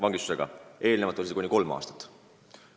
Seni on see karistus kuni kolm aastat.